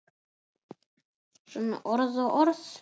Svona orð og orð.